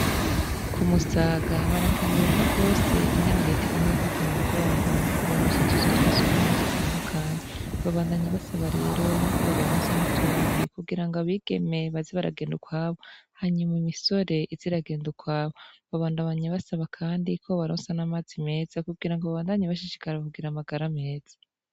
Ku musaga barakenguruka rwose ingene riitigume bafatamu mugongo mu ko baroso tuzu twa si gubumwe dutandukanyi babandanyi basaba rero yuko bobaronsa niutondi kugira ngo abigeme bazi baragenda ukwabo hanyuma imisore iziragenda ukwabo babandabanya basaba, kandi ko bbaronsa n'amazi meza kugira ngo babandanye bashijee karahugira amagara meza.